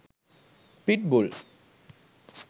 pit bull